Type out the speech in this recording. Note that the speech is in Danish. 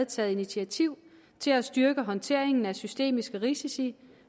taget initiativ til at styrke håndteringen af systemiske risici